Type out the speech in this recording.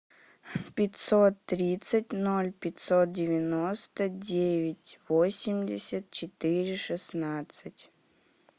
пятьсот тридцать ноль пятьсот девяносто девять восемьдесят четыре шестнадцать